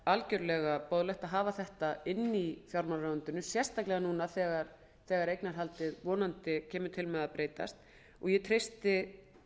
algjörlega boðlegt að hafa þetta inni í fjármálaráðuneytinu sérstaklega núna þegar eignarhaldið vonandi kemur til með að breytast og ég treysti